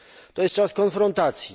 To jest czas konfrontacji.